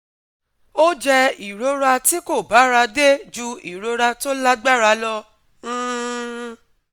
ó jẹ́ ìrora tí kò bára dé ju ìrora tó lágbára lọ um